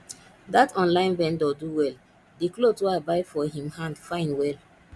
that online vendor do well the cloth wey i buy for him hand fine well